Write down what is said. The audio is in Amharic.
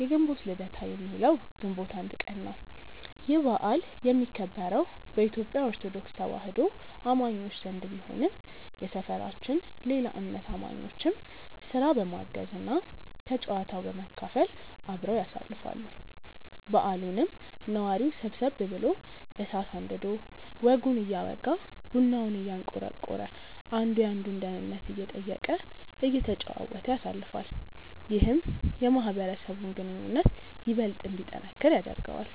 የግንቦት ልደታ የሚውለው ግንቦት 1 ቀን ነው። ይህ በዓል የሚከበረው በኢትዮጲያ ኦርቶዶክስ ተዋህዶ አማኞች ዘንድ ቢሆንም የሰፈራችን ሌላ እምነት አማኞችም ስራ በማገዝ እና ከጨዋታው በመካፈል አብረው ያሳልፋሉ። በዓሉንም ነዋሪው ሰብሰብ ብሎ እሳት አንድዶ ወጉን እያወጋ፤ ቡናውን እያንቆረቆረ፤ አንዱ የአንዱን ደህንነት እየጠየቀ፤ እየተጨዋወተ ያሳልፋል። ይህም የማህበረሰቡን ግንኙነት ይበልጥ እንዲጠነክር ያደርገዋል።